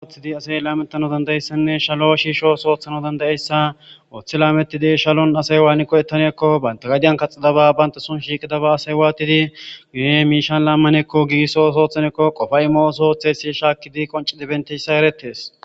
Oothidi asey laametano dandayeyssanne shalo shiisho soothana dandayeyssa ooththi laamettidey shalon asay waani qo ettaniekko baynta gadiyan kaxidaba baynta sun shiiqida ba asay waatidi gune miishan laammanekko giisso soothanekko qofay mo'o sooththesi shaakkidi qonci dibenteyssa erettes.